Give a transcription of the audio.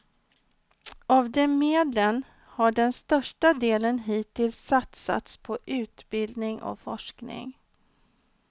Av de medlen har den största delen hittills satsats på utbildning och forskning.